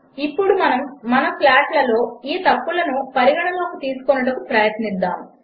ఇప్పుడు మనము మన ప్లాట్లలో ఈ తప్పులను పరిగణనలోనికి తీసుకొనుటకు ప్రయత్నిద్దాము